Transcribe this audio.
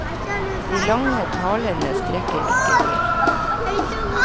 De lange talene strekker ikke til.